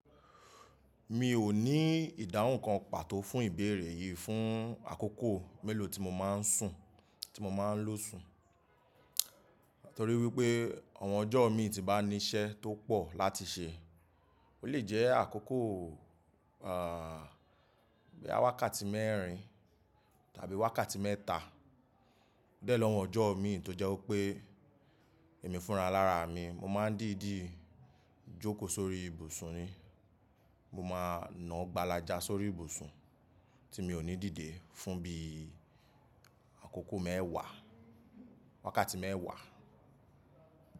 Mi ò ní ìdáhùn kan pàtó fún ìbéèrè yìí fún àkókò mélòó tí mo máa ń sùn, tí mo máa ń lọ́ sùn. Nítorí wípé ọmọ ọjọ́ mi tí bá ní iṣẹ́ tó pọ̀ láti ṣe, ó lè jẹ́ àkókò, ah, bí i wákàtí mẹ́rin tàbí wákàtí mẹ́ta. O de ni awon ọjọ́ mi tọ́jẹ́ wípé èmi fúnra lára mi, mo máa ń dìdi jókòó sórí ibùsùn ni. Mo máa ń náà gbàlàjà sórí ibùsùn tí mi ò ní dìde fún bí i àkókò mẹ́ẹ̀wá, wákàtí mẹ́ẹ̀wá.